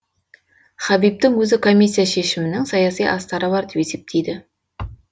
хабибтің өзі комиссия шешімінің саяси астары бар деп есептейді